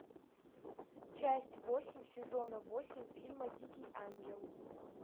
часть восемь сезона восемь фильма дикий ангел